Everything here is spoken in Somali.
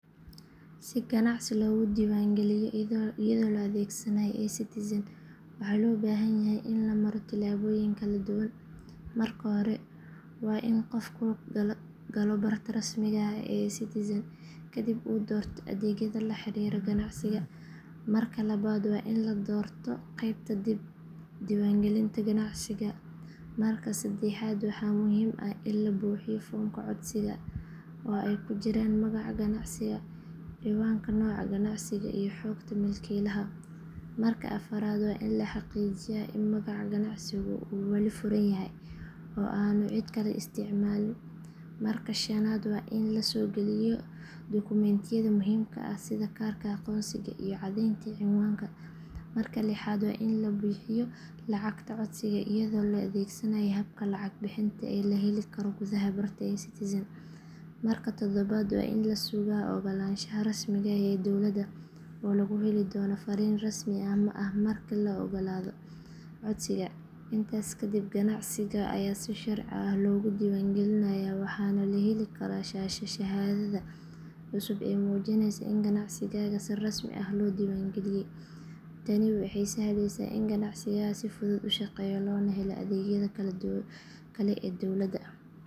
Si ganacsi dib loogu diiwaangeliyo iyadoo la adeegsanayo eCitizen waxaa loo baahan yahay in la maro tillaabooyin kala duwan. Marka hore waa in qofku galo barta rasmiga ah ee eCitizen kadibna uu doorto adeegyada la xiriira ganacsiga. Marka labaad waa in la doorto qaybta dib diiwaangelinta ganacsiga. Marka saddexaad waxaa muhiim ah in la buuxiyo foomka codsiga oo ay ku jiraan magaca ganacsiga, ciwaanka, nooca ganacsiga iyo xogta milkiilaha. Marka afraad waa in la xaqiijiyaa in magaca ganacsigu uu wali furan yahay oo aanu cid kale isticmaalin. Marka shanaad waa in la soo geliyo dukumentiyada muhiimka ah sida kaarka aqoonsiga iyo caddeynta cinwaanka. Marka lixaad waa in la bixiyo lacagta codsiga iyadoo la adeegsanayo habka lacag bixinta ee la heli karo gudaha barta eCitizen. Marka toddobaad waa in la sugaa oggolaanshaha rasmiga ah ee dowladda oo lagu heli doono fariin rasmi ah marka la oggolaado codsiga. Intaas kadib ganacsiga ayaa si sharci ah loogu diiwaangelinayaa waxaana la heli karaa shahaadada cusub ee muujinaysa in ganacsiga si rasmi ah loo diiwaangeliyay. Tani waxay sahleysaa in ganacsiga si fudud u shaqeeyo loona helo adeegyada kale ee dowladda.